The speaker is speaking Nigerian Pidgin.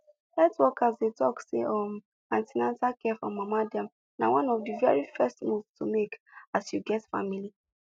health workers dey talk say um an ten atal care for mama dem na one of the very first move to make as you get family